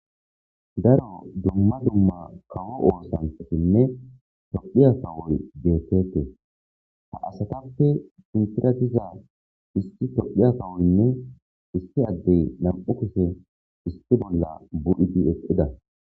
daro dumma dumma kawo oosanchatinne tophiya kawoy beetetes ha asatappe sintira diza isti tophiya kawoyinne isti addey nam'u kushe isti bolla bu'idi eqqida